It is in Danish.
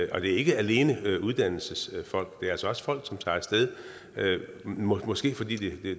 og det er ikke alene uddannelsesfolk men det er altså også folk som tager af sted måske måske fordi